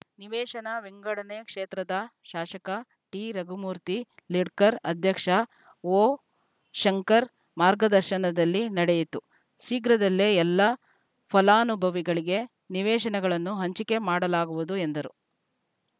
ನಿವೇಶನ ವಿಂಗಡಣೆ ಕ್ಷೇತ್ರದ ಶಾಸಕ ಟಿರಘುಮೂರ್ತಿ ಲಿಡ್ಕರ್‌ ಅಧ್ಯಕ್ಷ ಓಶಂಕರ್‌ ಮಾರ್ಗದರ್ಶನದಲ್ಲಿ ನಡೆಯಿತು ಶೀಘ್ರದಲ್ಲೇ ಎಲ್ಲ ಫಲಾನುಭವಿಗಳಿಗೆ ನಿವೇಶನಗಳನ್ನು ಹಂಚಿಕೆ ಮಾಡಲಾಗುವುದು ಎಂದರು